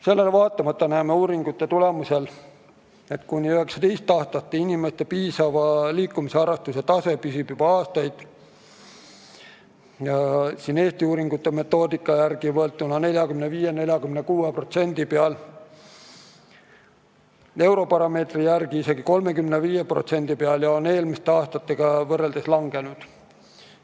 Sellele vaatamata näeme uuringute tulemustest, et kuni 19-aastaste inimeste piisava liikumisharrastuse tase püsib juba aastaid Eesti uuringute metoodika järgi võetuna 45–46% juures, Eurobaromeetri järgi isegi 35% juures ja eelmiste aastatega võrreldes on see langenud.